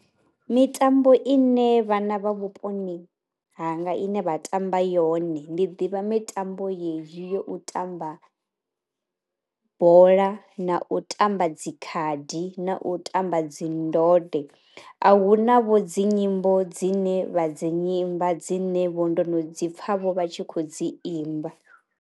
Mitambo ine vhana vha vhuponi hanga ine vha tamba yone ndi ḓivha mitambo yeyi yo u tamba bola na u tamba dzi khadi na u tamba dzi ndode, a hu navho dzi nyimbo dzine vha dzi nyimba dzine vho ndo no dzipfa vho vha tshi khou dzi imba.